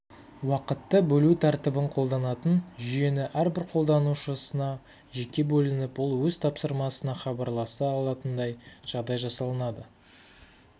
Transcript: уақытты бөлу тәртібін қолданатын жүйенің әрбір қолданушысына жеке бөлініп ол өз тапсырмасына хабарласа алатындай жағдай жасалынады